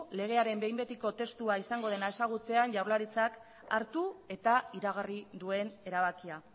legearen behin betiko testua izango dena ezagutzean jaurlaritzak hartu eta iragarri duen erabakia